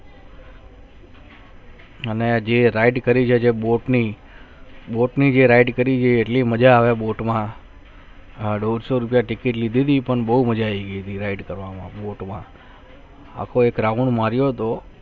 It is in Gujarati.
અને જે Ride કરી રહ્યા છે boat ની boat ની જે ride કરી રહ્યા છે એટલી મજા આવે boat માં આ દો સૌ રૂપિયા ticket લેવી છે પણ બહુ મજા આવે ride કરવા માં boat માં આખો એક round માર્યો હોતો